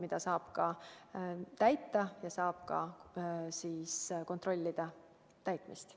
Neid ülesandeid saab täita ja ka kontrollida nende täitmist.